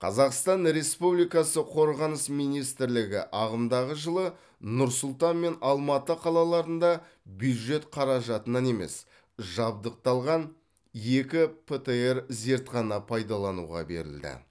қазақстан республикасы қорғаныс министрлігі ағымдағы жылы нұр сұлтан мен алматы қалаларында бюджет қаражатынан емес жабдықталған екі птр зертхана пайдалануға берілді